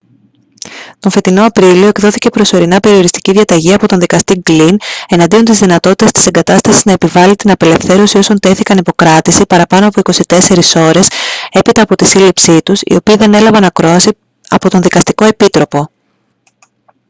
τον φετινό απρίλιο εκδόθηκε προσωρινά περιοριστική διαταγή από τον δικαστή γκλιν εναντίον της δυνατότητας της εγκατάστασης να επιβάλει την απελευθέρωση όσων τέθηκαν υπό κράτηση παραπάνω από 24 ώρες έπειτα από τη σύλληψή τους οι οποίοι δεν έλαβαν ακρόαση από τον δικαστικό επίτροπο